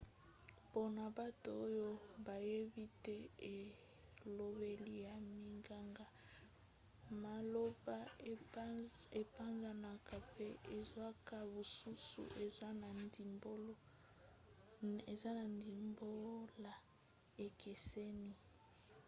mpona bato oyo bayebi te elobeli ya minganga maloba epanzanaka mpe ezwaka basusu eza na ndimbola ekeseni